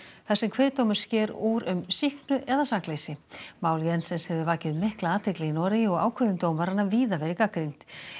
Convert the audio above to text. þar sem kviðdómur sker úr um sýknu eða sakleysi mál Jensens hefur vakið mikla athygli í Noregi og ákvörðun dómaranna víða verið gagnrýnd